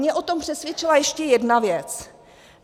Mě o tom přesvědčila ještě jedna věc.